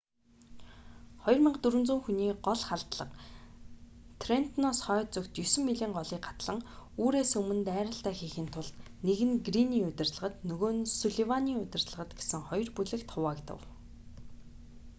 2400 хүний гол халдлага трентоноос хойд зүгт есөн милийн голыг гатлан үүрээс өмнө дайралтаа хийхийн тулд нэг нь грийний удирдлагад нөгөө нь сулливаны удирдлагад гэсэн хоёр бүлэгт хуваагдав